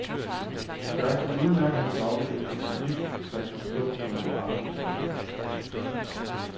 Jeg kunne udmærket have stoppet efter bind et, der kunne stå som en barndomserindring.